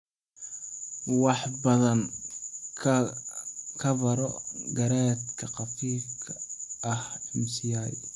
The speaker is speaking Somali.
Wax badan ka baro garaadka khafiifka ah (MCI).